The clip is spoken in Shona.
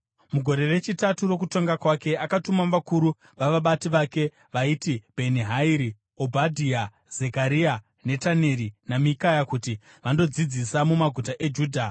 Mugore rechitatu rokutonga kwake akatuma vakuru vavabati vake vaiti Bheni-Hairi, Obhadhia, Zekaria, Netaneri naMikaya kuti vandodzidzisa mumaguta eJudha.